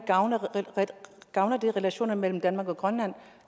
gavner gavner det relationerne mellem danmark og grønland